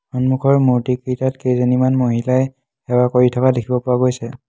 সন্মুখৰ মূৰ্তিকেইটাত কেইজনীমান মহিলাই সেৱা কৰি থকা দেখিব পোৱা গৈছে।